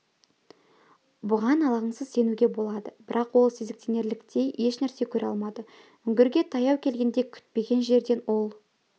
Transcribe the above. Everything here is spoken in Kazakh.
бұған алаңсыз сенуге болады бірақ ол сезіктенерліктей ешнәрсе көре алмады үңгірге таяу келгенде күтпеген жерден ол